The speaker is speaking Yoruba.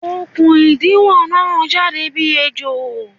Okùn ìdiwọ̀n na jáde bí ejò